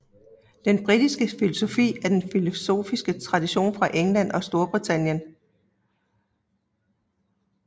Den britiske filosofi er den filosofiske tradition fra England og Storbritannien